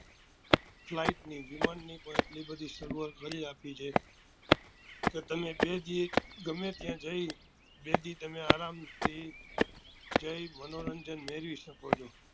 Flight ની વિમાન ની પણ એટલી બધી સગવડ કરી આપી છે કે તમે બે દી ગમે ત્યાં જઈ બે દી તમે આરામ થી જઈ મનોરંજન મેળવી શકો છો